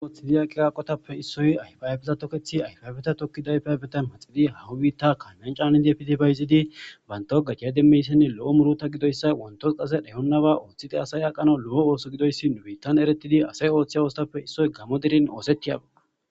oththidi aqi qaqotappe issoy ayfayafeza tokethi ayfaybeta tokkidaayfaybeta maxidi haahu biitta kaalmyan caanidi efitifayzidi banto gajcya demmeyssenne lo7o murota gidoyssa wontos qase dheyonnaba ooththite asay aqano lo7o ooso gidoyssi nubiittan eretidi asay ooththiy oostappe issoy gamo dirin oosettiyaba